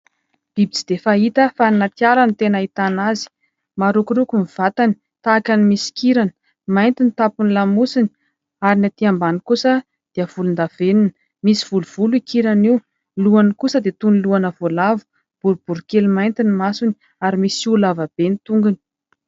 Biby tsy dia fahita fa any anaty ala no tena ahitana azy ; marokoroko ny vatany tahaka ny misy kirany mainty ny tapon'ny lamosiny ary ny aty ambany kosa dia volon-davenona, misy volovolo io kirany io. Ny lohany kosa dia toy ny lohana voalavo, boribory kely mainty ny masony ary misy hoho lavabe ny tongony.